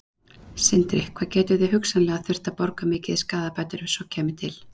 Sindri: Hvað gætuð þið hugsanlega þurft að borga mikið í skaðabætur ef svo kæmi til?